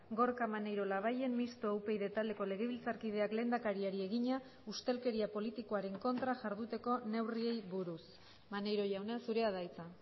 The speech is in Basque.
gorka maneiro labayen mistoa upyd taldeko legebiltzarkideak lehendakariari egina ustelkeria politikoaren kontra jarduteko neurriei buruz maneiro jauna zurea da hitza